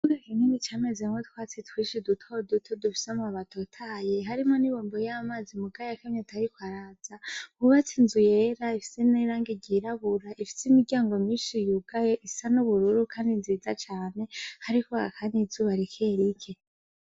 Ikibuga camezemwo utwatsi twinshi dutoduto dufise amababi atotahaye, harimwo ibombo y'amazi muga yakamye atariko araza hubatse inzu yera ifise n'irangi ryirabura, rifise imiryango myinshi yugaye ,isa n'ubururu kandi nziza cane, hariko haka n'izuba rike rike.